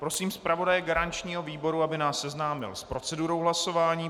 Prosím zpravodaje garančního výboru, aby nás seznámil s procedurou hlasování.